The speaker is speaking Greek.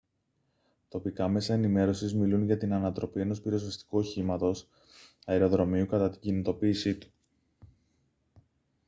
τοπικά μέσα ενημέρωσης μιλούν για την ανατροπή ενός πυροσβεστικού οχήματος αεροδρομίου κατά την κινητοποίησή του